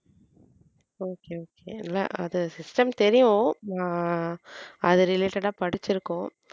okay okay இல்ல அது system தெரியும் நான் அதை related ஆ படிச்சிருக்கோம்